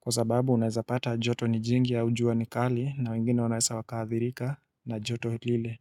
Kwa sababu unaezapata joto ni jingi au jua ni kali na wengine wanaweza wakaadhirika na joto lile.